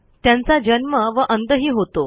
त्यांचा जन्म व अंतही होतो